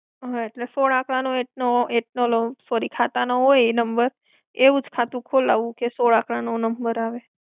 હા, એટલે, સોળ આંકડા નો એકનો એકનો લઉં. Sorry ખાતાનો હોય એ number, એવું જ ખાતું ખોલાવવું કે સોળ આંકડાનો number આવે.